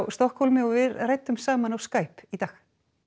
Stokkhólmi við ræddum saman á Skype í dag